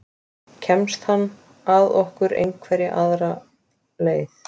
Kemst hann að okkur einhverja aðra leið?